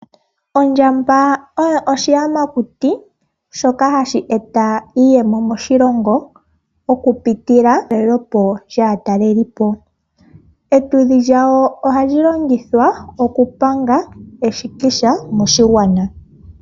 Ondjamba oyo oshiyamakuti shoka hashi eta iiyemo moshilongo okupitilwa metalelepo lyaatalelipo . Epumba lyawo ohali longithwa okupanga eshikisha .